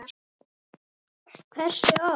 Hversu oft?